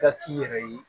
Ka k'i yɛrɛ ye